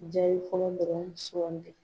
Jaabi fɔlɔ sugandi.